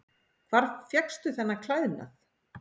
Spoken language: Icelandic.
Hvar fékkstu þennan klæðnað?